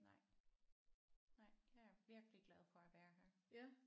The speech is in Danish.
Nej nej jeg er virkelig glad for at være her